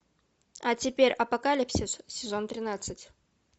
а теперь апокалипсис сезон тринадцать